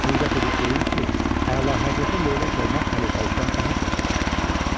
Cürət edib deyim ki, əlahəzrətə leylək olmaq xəlifəlikdən daha çox yaraşır.